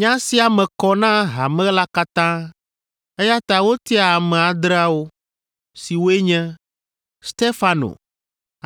Nya sia me kɔ na hame la katã eya ta wotia ame adreawo, siwoe nye: Stefano,